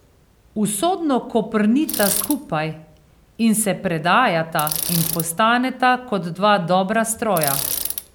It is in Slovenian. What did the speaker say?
Usodno koprnita skupaj in se predajata in postaneta kot dva dobra stroja.